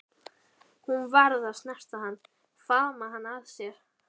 Hún varð að snerta hann, faðma hann að sér.